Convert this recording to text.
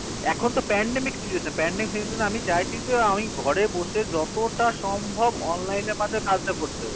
এখন তো pandemic situation pandemic situation এ আমি চাইছি যে আমি ঘরে বসে যতটা সম্ভব online এর মাধ্যমে কাজ টা করতে হবে